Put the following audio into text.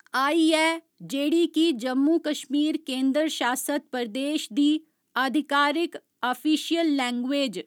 आई ऐ जेह्ड़ी कि जम्मू कशमीर केन्द्र शासित प्रदेश दी आधिकारिक आफीशियल लैंगुएज